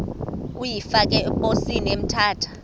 uyifake eposini emthatha